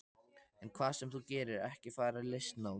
En hvað sem þú gerir, ekki fara í listnám.